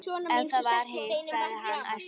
Ef það var hitt, sagði hann æstur: